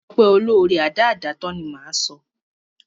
Ọpẹ́ olóóre, adáádátán ni, ni máa sọ.